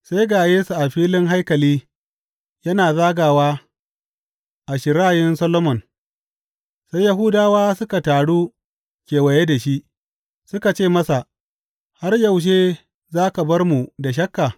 Sai ga Yesu a filin haikali yana zagawa a Shirayin Solomon, sai Yahudawa suka taru kewaye da shi, suka ce masa, Har yaushe za ka bar mu da shakka?